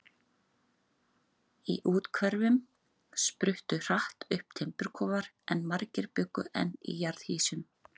Í úthverfunum spruttu hratt upp timburkofar, en margir bjuggu enn í jarðhýsum.